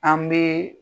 An bɛ